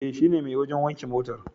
E, shine mai wajen wanke motar.